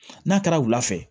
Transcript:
N'a kɛra wula fɛ